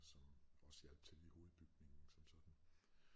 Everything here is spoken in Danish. Som også hjalp til i hovedbygningen som sådan